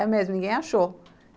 É mesmo, ninguém achou.